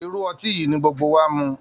Irú ọtí yìí ni gbogbo wa mu